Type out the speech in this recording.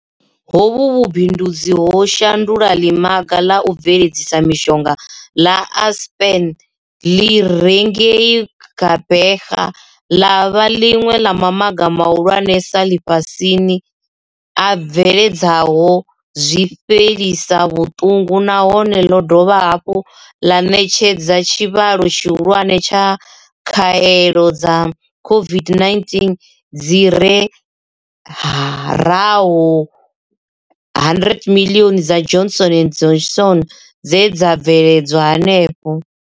Hovhu vhu bindudzi ho shandula ḽimaga ḽa u bveledza mishonga ḽa Aspen ḽi re ngei Gqeberha ḽa vha ḽiṅwe ḽa mamaga mahulwanesa ḽifhasini a bveledzaho zwifhelisa vhuṱungu nahone ḽo dovha hafhu ḽa ṋetshedza tshivhalo tshihulwane tsha khaelo dza COVID-19 dzi fhi raho 100 miḽioni dza Johnson and Johnson dze dza bveledzwa henefho.